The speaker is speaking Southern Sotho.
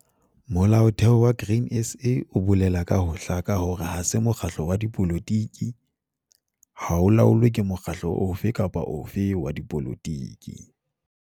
Molaotheho wa Grain SA o bolela ka ho hlaka hore ha se mokgatlo wa dipolotiki, ha o laolwe ke mokgatlo ofe kapa ofe wa dipolotiki.